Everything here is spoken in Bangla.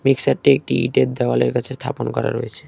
মিক্সারটি একটি ইটের দেওয়ালের কাছে স্থাপন করা রয়েছে।